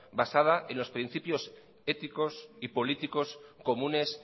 basada en los principios éticos y políticos comunes